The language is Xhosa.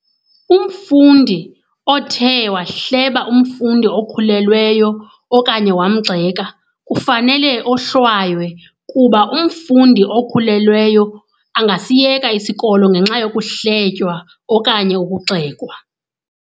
Umfundi othe wahleba umfundi okhulelweyo okanye wamgxeka kufanele ohlwaywe kuba umfundi okhulelweyo angasiyeka isikolo ngenxa yokuhletywa okanye ukugxekwa.